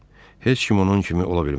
Heç kim onun kimi ola bilməz.